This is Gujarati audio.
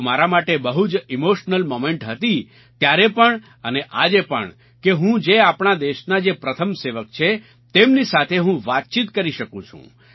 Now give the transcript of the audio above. તો મારા માટે બહુ જ ઇમોશનલ મોમેન્ટ હતી ત્યારે પણ અને આજે પણ કે હું જે આપણા દેશના જે પ્રથમ સેવક છે તેમની સાથે હું વાતચીત કરી શકું છું